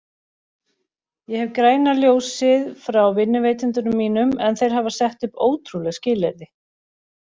Ég hef græna ljósið frá vinnuveitendum mínum en þeir hafa sett upp ótrúleg skilyrði.